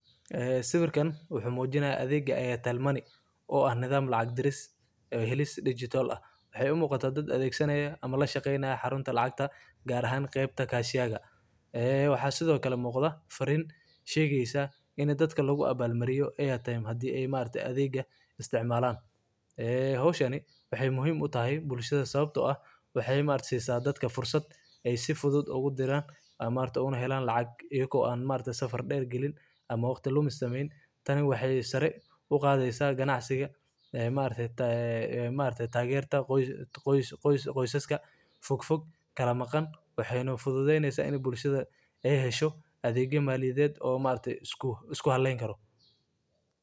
Waa adeeg lacag-bixin oo casri ah oo shirkadda ay bixiso, kaas oo u sahlaya macaamiisha inay si fudud oo ammaan ah uga sameeyaan hawlo kala duwan oo lacageed iyagoo adeegsanaya telefoonadooda gacanta. Adeegan wuxuu u oggolaanayaa dadka inay lacag ku shubtaan akoonkooda, uga wareejiyaan lacag asxaabta iyo qoyska, lacag ka qaataan meelo kala duwan, iyo inay ku bixiyaan biilasha adeegyada kala duwan sida korontada, biyaha, iyo internetka. Intaa waxaa dheer.